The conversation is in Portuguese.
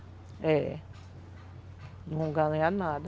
É. Não vão ganhar nada.